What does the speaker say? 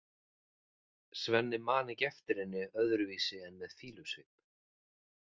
Svenni man ekki eftir henni öðruvísi en með fýlusvip.